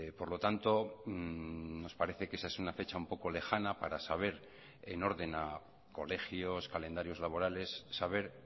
por lo tanto nos parece que esa es una fecha un poco lejana para saber en orden a colegios calendarios laborales saber